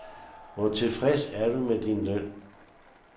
Hvor tilfreds er du med din løn?